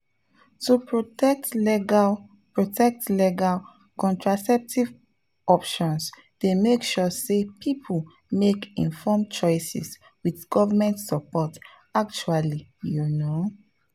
to protect legal protect legal contraceptive options dey make sure say people make informed choices with government support actually you know.